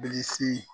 Bilisi